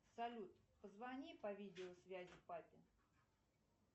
салют позвони по видеосвязи папе